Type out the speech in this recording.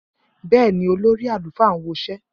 Bẹẹni, olórí àlùfáà n woṣẹ́.